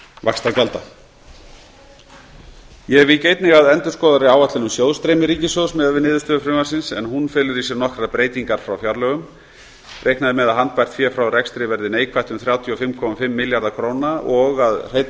vaxtagjalda ég vík einnig að endurskoðaðri áætlun um sjóðstreymi ríkissjóðs miðað við niðurstöður frumvarpsins hún felur í sér nokkrar breytingar frá fjárlögum reiknað er með að handbært fé frá rekstri verði neikvætt um þrjú hundruð fimmtíu og fimm milljarða króna og að hreinn